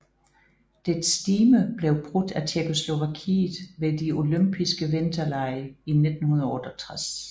Dets stime blev brudt af Tjekkoslovakiet ved de Olympiske Vinterlege i 1968